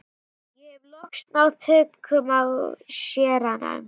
Ég hef loks náð tökum á séranum.